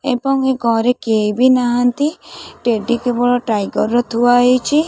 ଏବଂ ଏ ଘରେ କେହି ବି ନାହାନ୍ତି ଟେଡି କେବଳ ଟାଇଗର୍ ର ଥୁଆ ହେଇଛି।